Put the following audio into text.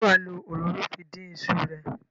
Ṣé wà á lo òróró fi dín iṣu ẹ?